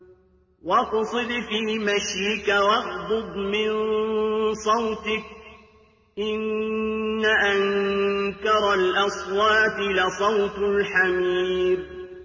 وَاقْصِدْ فِي مَشْيِكَ وَاغْضُضْ مِن صَوْتِكَ ۚ إِنَّ أَنكَرَ الْأَصْوَاتِ لَصَوْتُ الْحَمِيرِ